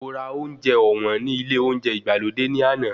Mo ra oúnjẹ ọ̀wọ́n ní ilé olóúnjẹ ìgbàlódé ní àná.